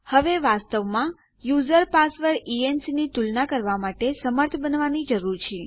હવે વાસ્તવમાં user password ENC ની તુલના કરવાં માટે સમર્થ બનવાની જરૂર છે